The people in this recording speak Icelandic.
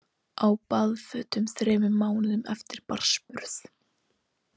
Á baðfötum þremur mánuðum eftir barnsburð